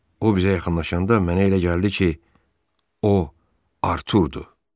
O bizə yaxınlaşanda mənə elə gəldi ki, o arx durdu.